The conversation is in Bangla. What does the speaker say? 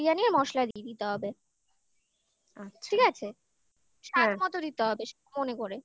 মশলা দিয়ে দিতে হবে আচ্ছা ঠিক আছে আর সাধ মতো দিতে হবে মনে করে